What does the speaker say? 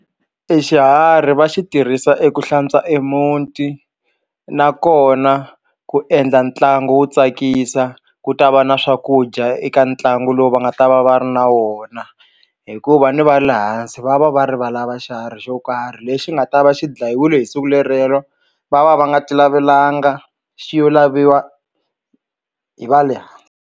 Exiharhi va xi tirhisa eku hlantswa e muti nakona ku endla ntlangu wo tsakisa ku ta va na swakudya eka ntlangu lowu va nga ta va va ri na wona hikuva ni va le hansi va va va ri va lava xiharhi xo karhi lexi nga ta va xi dlayiwile hi siku le rero va va va nga ti lavelanga xi yo laviwa hi va le hansi.